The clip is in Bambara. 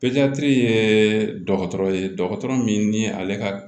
ye dɔgɔtɔrɔ ye dɔgɔtɔrɔ min ale ka